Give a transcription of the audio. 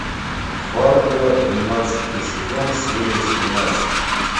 фарго двенадцатый сезон серия семнадцать